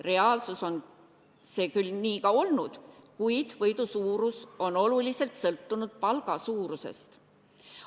Reaalsuses on see küll nii ka olnud, kuid võidu suurus on oluliselt sõltunud palga suurusest.